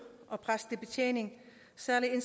salg af en